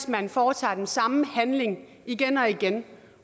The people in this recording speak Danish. man foretager den samme handling igen og igen